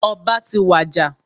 Ọba ti wàjà.